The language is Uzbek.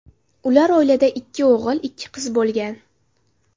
Ular oilada ikki o‘g‘il, ikki qiz bo‘lgan.